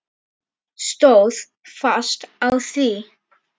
Stóð fast á því.